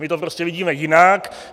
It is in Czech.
My to prostě vidíme jinak.